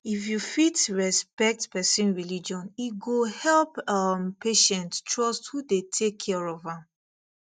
if you fit respect person religion e go help um patient trust who dey take care of am